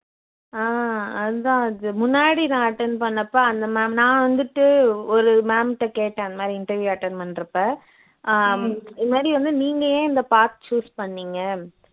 ஆஹ் அதுதான் அது முன்னாடி நான் attend பண்ணப்போ அந்த ma'am நான் வந்துட்டு ஒரு ma'am ட கேட்டேன் அந்த மாதிரி interview attend பண்ணுறப்போ ஹம் இது மாதிரி வந்து நீங்க ஏன் இந்த path choose பண்ணீங்க